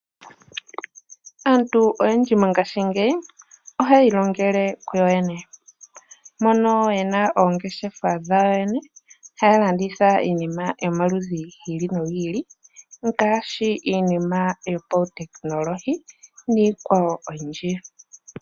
Aantu oyendji mongaashingeyi ohaya ilongele kuyo yene, mono yena oongeshefa dhawo yene haya landitha iinima yomaludhi gi ili nogi ili ngaashi iinima yopa wutekinolohi niikwawo oyindji.